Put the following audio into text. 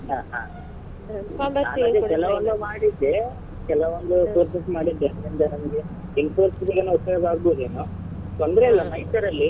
ಹ ಹಾ ಅದೇ ಕೆಲವೊಂದು ಮಾಡಿದ್ದೆ ಕೆಲವೊಂದು courses ಮಾಡಿದ್ದೆ Infosys ಗೆನೋ ಉಪಯೋಗ ಅಗ್ಬೋದೇನೋ ತೊಂದ್ರೆ ಇಲ್ಲ